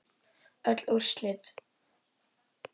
Öll úrslit